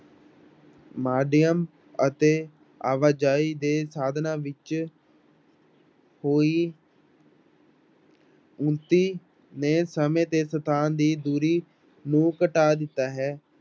ਮਾਧਿਅਮ ਅਤੇ ਆਵਾਜ਼ਾਈ ਦੇ ਸਾਧਨਾਂ ਵਿੱਚ ਕੋਈ ਨੇ ਸਮੇਂ ਤੇ ਸਥਾਨ ਦੀ ਦੂਰੀ ਨੂੰ ਘਟਾ ਦਿੱਤਾ ਹੈ।